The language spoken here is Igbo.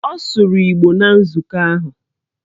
Ọ sụrụ Igbo na nzukọ ahụ.